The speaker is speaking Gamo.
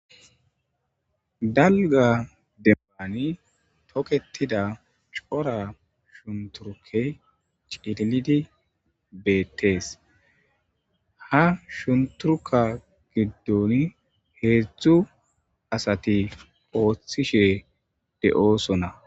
Dalga demmani toketida cora shunturuke cililidi beettees ha shunturuka giddon heedzdzu asati ooththishe de'oosonna.